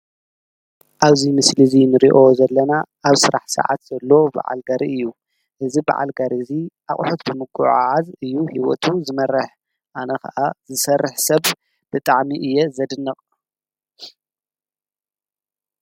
አብዚ ምስሊ እዚ እንሪኦ ዘለና ኣብ ስራሕ ስዓት ዘሎ ብዓል ጋሪ እዩ። እዚ ብዓል ጋሪ እዚ ኣቁሑት ብምጉዕዓዝ እዩ ሂወቱ ዝመርሕ። አነ ከዓ ዝሰርሕ ስብ ብጣዕሚ እየ ዘደንቅ።